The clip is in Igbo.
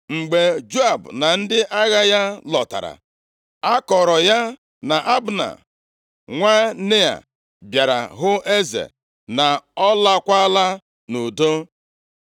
Mgbe Joab na ndị agha ya lọtara, a kọọrọ ya na Abna, nwa Nea, bịara hụ eze, na ọ laakwala nʼudo.